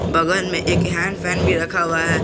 बगल में एक हैंड फैन भी रखा हुआ है।